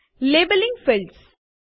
labelling fields